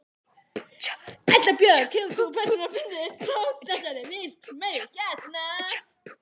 Erla Björg: Hefur þú persónulega fundið fyrir þessari verksmiðju hérna?